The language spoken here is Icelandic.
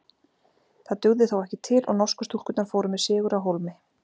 Það dugði þó ekki til og norsku stúlkurnar fóru með sigur á hólmi.